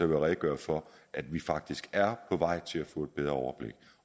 jeg redegøre for at vi faktisk er på vej til at få et bedre overblik